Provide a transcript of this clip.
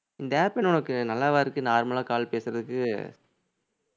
இந்த apple உனக்கு நல்லாவா இருக்கு normal ஆ call பேசுறதுக்கு